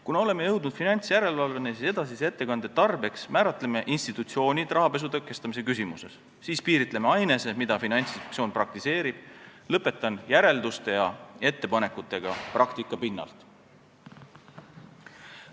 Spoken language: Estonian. Kuna oleme jõudnud finantsjärelevalveni, siis edasise ettekande tarbeks määratleme institutsioonid rahapesu tõkestamise küsimuses, siis piiritleme ainese, mida Finantsinspektsioon praktiseerib, ning lõpetan järelduste ja ettepanekutega praktika pinnalt.